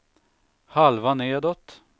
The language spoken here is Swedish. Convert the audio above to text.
halva nedåt